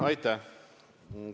Aitäh!